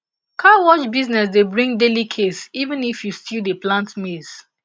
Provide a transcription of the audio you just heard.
car wash business dey bring daily case even if you still dey plant maize